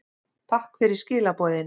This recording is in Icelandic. Takk fyrir skilaboðin.